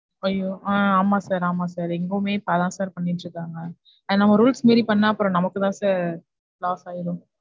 ஐயோ அஹ் ஆமா sir, ஆமா sir இங்கவுமே அதான் sir பண்ணிட்டு இருக்காங்க and நம்ம rules மீறி பண்ணா அப்புறம் நமக்கு தான் sir loss ஆகிரும்.